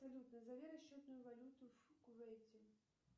салют назови расчетную валюту в кувейте